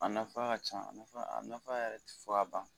A nafa ka ca a nafa a nafa yɛrɛ te fɔ ka ban